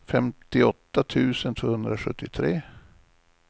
femtioåtta tusen tvåhundrasjuttiotre